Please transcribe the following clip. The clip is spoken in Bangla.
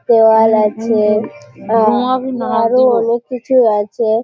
দেওয়াল আছে আরও অনেক কিছু আছে ।